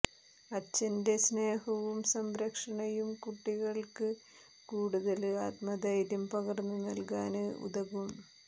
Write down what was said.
അച്ഛന്റെ സ്നേഹവും സംരക്ഷണയും കുട്ടികള്ക്ക് കൂടുതല് ആത്മധൈര്യം പകര്ന്ന് നല്കാന് ഉതകും